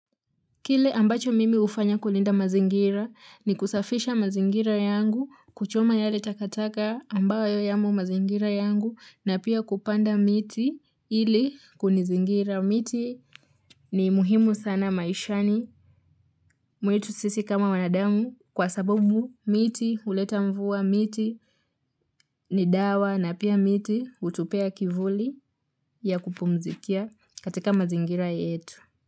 Kile ambacho mimi hufanya kulinda mazingira ni kusafisha mazingira yangu kuchoma yale takataka ambayo yamo mazingira yangu na pia kupanda miti ili kunizingira. Miti ni muhimu sana maishani mwetu sisi kama wanadamu kwa sababu miti huleta mvua miti ni dawa na pia miti hutupea kivuli ya kupumzikia katika mazingira yetu.